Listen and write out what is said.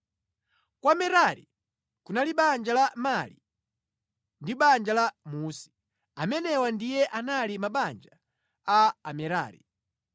Kwa Merari kunali banja la Mali ndi banja la Musi. Amenewa ndiye anali mabanja a Amerari.